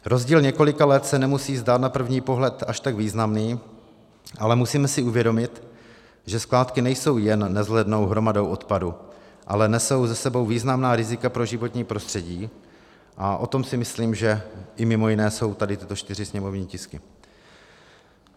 Rozdíl několika let se nemusí zdát na první pohled až tak významný, ale musíme si uvědomit, že skládky nejsou jen nevzhlednou hromadou odpadu, ale nesou s sebou významná rizika pro životní prostředí, a o tom si myslím, že i mimo jiné jsou tady tyto čtyři sněmovní tisky.